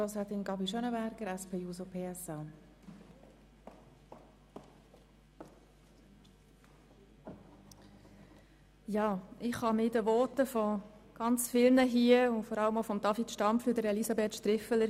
Ich kann mich vielen Worten zu 100 Prozent anschliessen, insbesondere denjenigen von David Stampfli und Elisabeth Striffeler.